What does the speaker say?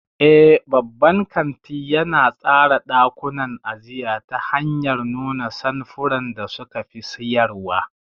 Eh, babban kanti yana tsara ɗakunan ajiya ta hanyar nuna samfuran da suka fi siyarwa.